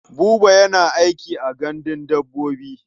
Buba yana aiki a gandun dabbobi.